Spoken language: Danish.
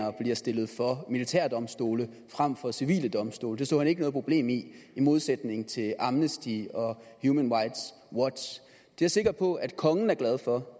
bliver stillet for militærdomstole frem for civile domstole det så han ikke noget problem i i modsætning til amnesty og human rights watch det er jeg sikker på at kongen er glad for